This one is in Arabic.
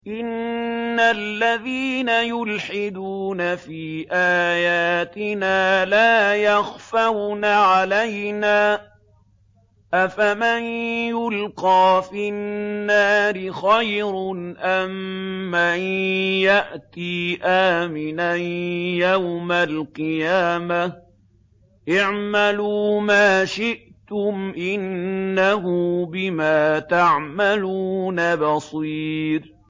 إِنَّ الَّذِينَ يُلْحِدُونَ فِي آيَاتِنَا لَا يَخْفَوْنَ عَلَيْنَا ۗ أَفَمَن يُلْقَىٰ فِي النَّارِ خَيْرٌ أَم مَّن يَأْتِي آمِنًا يَوْمَ الْقِيَامَةِ ۚ اعْمَلُوا مَا شِئْتُمْ ۖ إِنَّهُ بِمَا تَعْمَلُونَ بَصِيرٌ